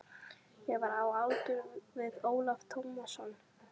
Ég var á aldur við Ólaf Tómasson þá.